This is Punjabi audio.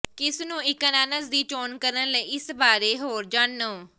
ਕਿਸ ਨੂੰ ਇੱਕ ਅਨਾਨਾਸ ਦੀ ਚੋਣ ਕਰਨ ਲਈ ਇਸ ਬਾਰੇ ਹੋਰ ਜਾਣੋ